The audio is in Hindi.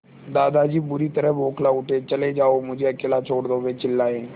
दादाजी बुरी तरह बौखला उठे चले जाओ मुझे अकेला छोड़ दो वे चिल्लाए